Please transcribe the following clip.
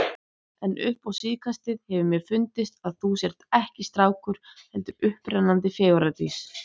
En upp á síðkastið hefur mér fundist að þú sért ekki strákur, heldur upprennandi fegurðardís.